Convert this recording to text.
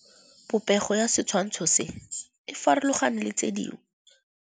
Popêgo ya setshwantshô se, e farologane le tse dingwe.